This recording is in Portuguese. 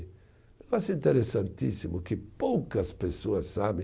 interessantíssimo que poucas pessoas sabem.